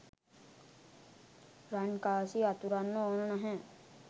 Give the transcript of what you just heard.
රන්කාසි අතුරන්න ඕන නැහැ.